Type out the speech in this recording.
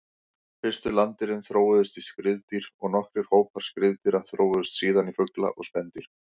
Fyrstu landdýrin þróuðust í skriðdýr og nokkrir hópar skriðdýra þróuðust síðan í fugla og spendýr.